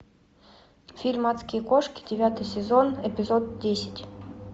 фильм адские кошки девятый сезон эпизод десять